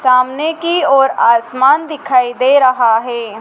सामने की ओर आसमान दिखाई दे रहा है।